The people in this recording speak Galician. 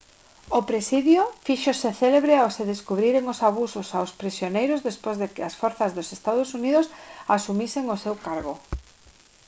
o presidio fíxose célebre ao se descubriren os abusos aos prisioneiros despois de que as forzas dos ee uu asumisen o seu cargo